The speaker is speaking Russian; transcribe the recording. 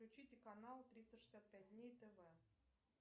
включите канал триста шестьдесят пять дней тв